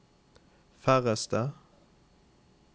færreste